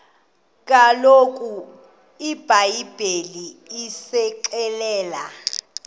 kaloku ibhayibhile isixelela